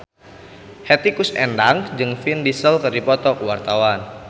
Hetty Koes Endang jeung Vin Diesel keur dipoto ku wartawan